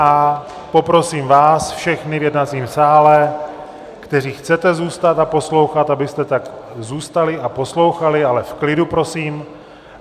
A poprosím vás všechny v jednacím sále, kteří chcete zůstat a poslouchat, abyste tady zůstali a poslouchali, ale v klidu prosím.